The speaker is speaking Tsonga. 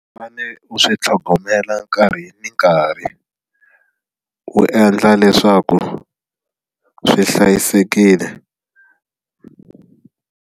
U fane u swi tlhogomela nkarhi ni nkarhi u endla leswaku swi hlayisekile.